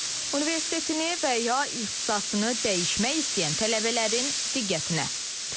Universitetini və ya ixtisasını dəyişmək istəyən tələbələrin diqqətinə.